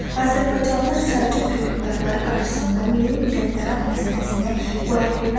Azərbaycanlılar Səlcuq hökmdarları qarşısında milli müqəddərat məsələsini qoya bilməzdilər.